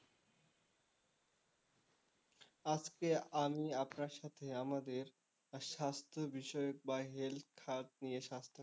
আজকে আমি আপনার সাথে আমাদের স্বাস্থ্য বিষয়ক বা health খাত নিয়ে স্বাস্থ্যখাত,